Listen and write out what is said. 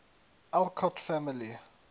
alcott family